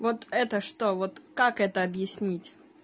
вот это что вот как это объяснить